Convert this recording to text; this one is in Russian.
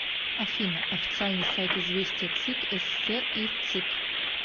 афина официальный сайт известия цик ссср и вцик